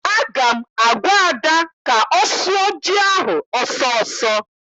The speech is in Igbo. Aga m agwa Ada ka ọ sụọ ji ahụ ọsọ ọsọ!